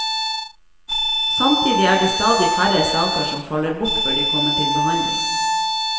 Samtidig er det stadig færre saker som faller bort før de kommer til behandling.